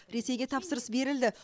ресейге тапсырыс берілді